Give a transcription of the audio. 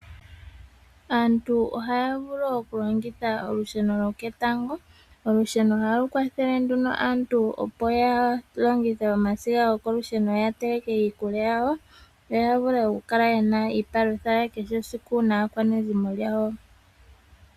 Aantu ohaya vulu okulongitha olusheno lyoketango. Olusheno ohali kwathele nduno aantu opo yalongithe omasiga gokolusheno ya teleke iikulya yawo, yo yavule okukala ye na iipalutha yakehe esiku, pamwe naakwanezimo yawo.